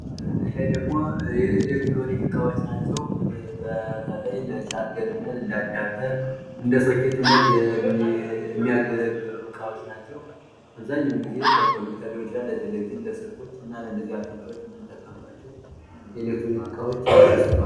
ይሄ ደግሞ የኤሌክትሮኒክ እቃዎች ናቸው በተለይ ለቻርጀርነት እና እንደ አዳብተር እንደ ሶኬት የሚያገለግሉ እቃዎች ናቸው አብዛኛውን ጊዜ ለቴሌቪዥን ሊሆን ይችላል ለስልኮች እና ለነዚህ ያሉ ነገሮች የምንጠቀምባቸው የኤሌክትሮኒክ እቃዎች ይባላሉ።